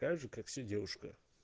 такая же как все девушка